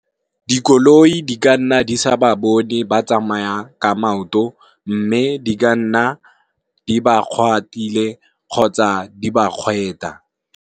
Dikoloi di ka nna di sa ba bone ba tsamayang ka maoto mme di ka nna di ba kgwaratile kgotsa di ba kgweta.